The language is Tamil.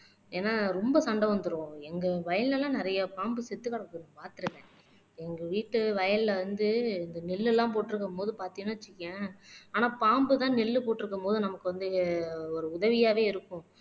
ஏன்னா ரொம்ப சண்டை வந்துரும் எங்க வயல்ல எல்லாம் நிறைய பாம்பு செத்து கெடக்கும் பாத்துருக்கேன் எங்க வீட்டு வயல்ல வந்து இந்த நெல்லெல்லாம் போட்டு இருக்கும்போது பார்த்தேன்னு வச்சுக்கயேன் ஆனா பாம்புதான் நெல்லு போட்டிருக்கும்போது நமக்கு வந்து ஒரு உதவியாவே இருக்கும்